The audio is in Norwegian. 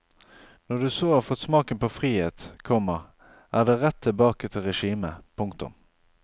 Når du så har fått smaken på frihet, komma er det rett tilbake til regimet. punktum